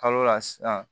Kalo la sisan